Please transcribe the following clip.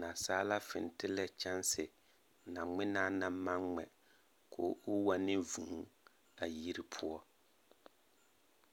Nasaala fentele kyaanse na ŋmenaa naŋ maŋ ŋmɛ ko o wa ne vūū a yiri poɔ.